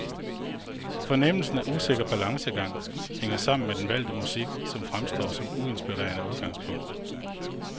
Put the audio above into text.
Fornemmelsen af usikker balancegang hænger sammen med den valgte musik, som fremstår som uinspirerende udgangspunkt.